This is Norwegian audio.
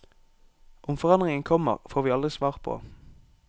Om forandringen kommer, får vi aldri svar på.